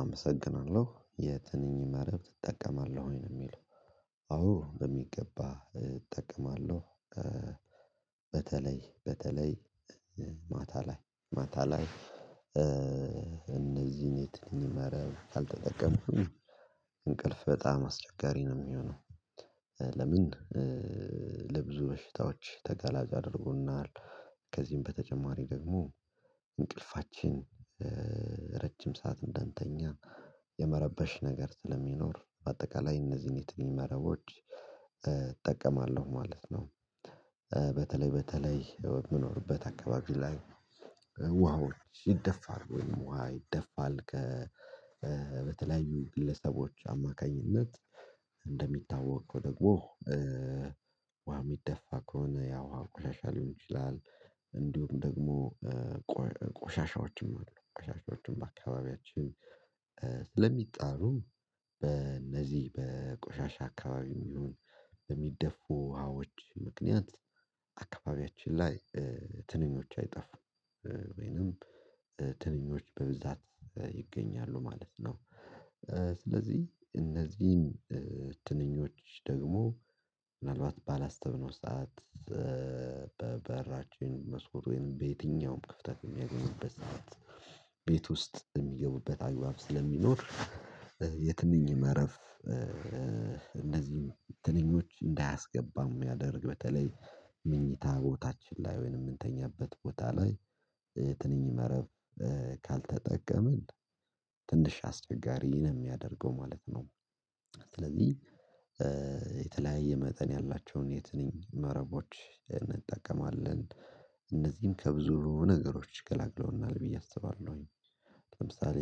አመሰግናለሁ የትንኝ መረብ ትጠቀማለህ ወይ ነው የሚለው? አዎ በሚገባ እጠቀማለሁ። በተለይ በተለይ ማታ ላይ ማታ ላይ። እነዚህን የትንኝ መረብ ካልተጠቀምኩኝ እንቅልፍ በጣም አስቸጋሪ ነው የሚሆነው። ለምን ለብዙ በሽታዎች ተጋላጭ አድርጎናል። ከዚህም በተጨማሪ ደግሞ እንቅልፋችን ረጅም ሰዓት እንደንተኛ የመረበሽ ነገር ስለሚኖር በአጠቃላይ እነዚህን የትኛው መረቦች እጠቀማለሁ ማለት ነው። በተለይ በተለይ የምኖርበት አካባቢ ላይ ውሃዎች ይደፋል ወይም ውሃ ይደፋል ከተለያዩ ግለሰቦች አማካኝነት እንደሚታወቅ ደግሞ ዋ የሚደፋ ከሆነ ያው አንኳሻ ሊሆን ይችላል። እንዲሁም ደግሞ ቆሻሻዎችም አሉ ቆሻሻዎችን በአካባቢያችን ስለሚጣሩ በእነዚህ በቆሻሻ አካባቢ ይሁን በሚደፉ ውሃዎች ምክንያት አካባቢያችን ላይ ትንኞች አይጠፉም ወይንም ትንኞች በብዛት ይገኛሉ ማለት ነው። ስለዚህ እነዚህን ትንኞች ደግሞ ምናልባት ባላስብነው ሰዓት በበራችን መስኮቱን በየትኛውም ክፍተት የሚያገኙበት ሰዓት ቤት ውስጥ የሚገቡበት አግባብ ስለሚኖር የትንኝ መረፍ እንደዚህም ትንኞች እንዳያስገባም የሚያደርግ በተለይ ምኞታ ቦታችን ላይ ወይንም የምንተኛበት ቦታ ላይ ትንኝ መረብ ካልተጠቀመን ትንሽ አስቸጋሪን የሚያደርገው ማለት ነው። ስለዚህ የተለያየ መጠን ያላቸውን የት ነኝ መረቦች እንጠቀማለን እነዚህን ከብዙ ነገሮች ገላግለውናል ብዬ አስባለሁኝ። ለምሳሌ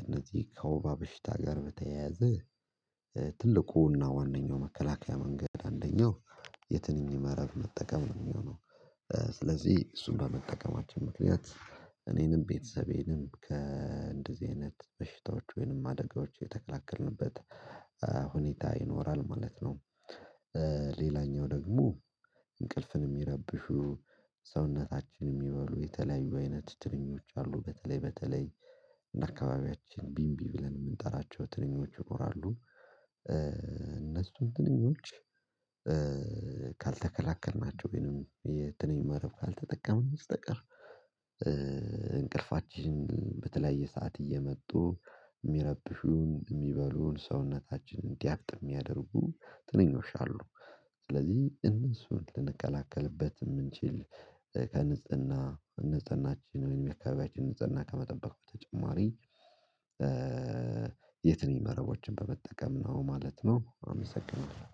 እነዚህ ከወባ በሽታ ጋር በተያያዘ ትልቁና ዋናው መከላከያ መንገድ አንደኛው የትንኝ መረብ መጠቀም ነው የሚሆነው። ስለዚህ እሱን ለመጠቀማችን ምክንያት እኔንም ቤተሰቤንም ከእንደዚህ አይነት በሽታዎች ወይንም አደጋዎች የተከላከልንበት ሁኔታ ይኖራል ማለት ነው። ሌላኛው ደግሞ እንቅልፍን የሚረብሹ ሰውነታችን የሚባሉ የተለያዩ አይነት ትርኞች አሉ በተለይ በተለይ እንደ አካባቢያችን ቢንቢ ብለን የምንጠራቸው ትንኞች ይኖራሉ። እነሱ ትንኞች ካልተከላከልናቸው ወይንም የትንኝ መረብ ካልተጠቀሙ ነው የምትጠቀሙ እንቅልፋችን በተለየ ሰዓት እየመጡ የሚረብሹን የሚበሉን ሰውነታችን እንዲያብጥ የሚያደርጉ ጥንኞች አሉ። ስለዚህ እነሱን ልንከላከልበት የምንችል ከንጽህና ንጽህናችን ወይም የአካባቢያችን ንጽህና ከመጠበቅ በተጨማሪ የትኛውም መረቦችን በመጠቀም ነው ማለት ነው። አመሰግናለሁ